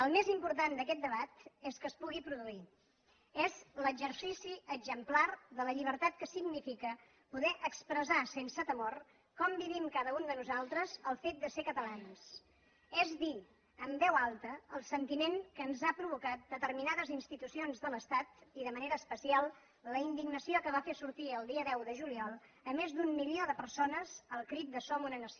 el més important d’aquest debat és que es pugui produir és l’exercici exemplar de la llibertat que significa poder expressar sense temor com vivim cada un de nosaltres el fet de ser catalans és dir amb veu alta el sentiment que ens han provocat determinades institucions de l’estat i de manera especial la indignació que va fer sortir el dia deu de juliol més d’un milió de persones al crit de som una nació